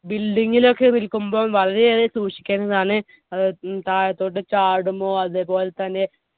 building ൽ ഒക്കെ നിൽക്കുമ്പോൾ വളരെയേറെ സൂക്ഷിക്കേണ്ടതാണ്. താഴത്തോട്ടു ചാടുമോ? അതുപോലെതന്നെ